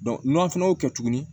n'a fana y'o kɛ tuguni